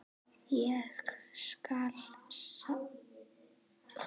Ég skal sjálf.